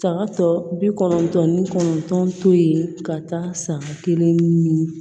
Saga tɔ bi kɔnɔntɔn ni kɔnɔntɔn to yen ka taa san kelen ɲini